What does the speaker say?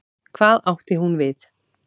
Hvað átti hún við?